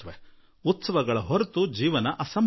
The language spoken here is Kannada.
ಉತ್ಸವವಿಲ್ಲದೆ ಜೀವನವಿಲ್ಲ